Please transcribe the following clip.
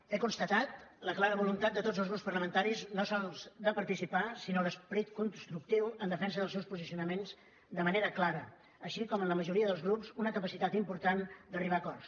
he constatat la clara voluntat de tots els grups parlamentaris no sols de participar sinó l’esperit constructiu en defensa dels seus posicionaments de manera clara com també en la majoria dels grups una capacitat important d’arribar a acords